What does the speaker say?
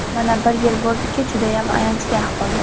Mana, bir yil bo‘ldiki, judayam ayanchli ahvolda.